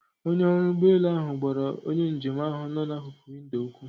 Onye ọrụ ụgbọelu ahụ gwara onye njem ahụ nno na akuku windo okwu.